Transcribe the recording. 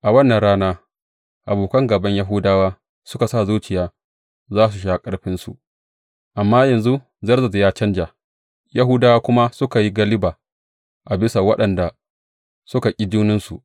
A wannan rana, abokan gāban Yahudawa suka sa zuciya za su sha ƙarfinsu, amma yanzu Zerzes ya canja, Yahudawa kuma suka yi galiba a bisa waɗanda suka ƙi jininsu.